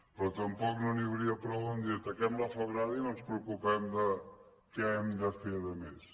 però tampoc no n’hi hauria prou a dir ataquem la febrada i no ens preocupem de què hem de fer a més